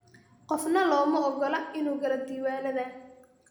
Qofna looma oggola inuu galo diiwaannada.